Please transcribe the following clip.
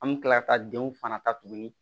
An bɛ kila ka denw fana ta tuguni